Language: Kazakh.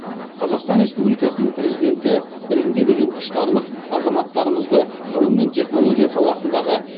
қазақстан республикасы президенті білімге деген құштарлық азаматтарымызды ғылым мен технология саласындағы